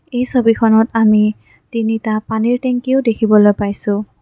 এই ছবিখনত আমি তিনিটা পানীৰ টেংকিও দেখিবলৈ পাইছোঁ।